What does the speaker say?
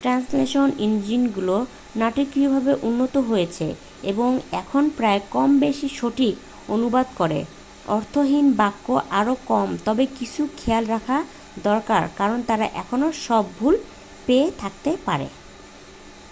Translation ইঞ্জিনগুলো নাটকীয়ভাবে উন্নত হয়েছে এবং এখন প্রায়ই কম-বেশি সঠিক অনুবাদ করে অর্থহীন বাক্য আরও কম তবে কিছু খেয়াল রাখা দরকার কারণ তারা এখনও সব ভুল পেয়ে থাকতে পারে।